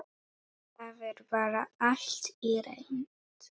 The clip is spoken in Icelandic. Það er bara allt reynt.